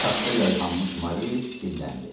Taxta yayğanmış Mari dilləndi.